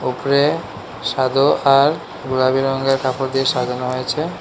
উপরে সাদো আর গোলাপী রঙের কাপড় দিয়ে সাজানো হয়েছে।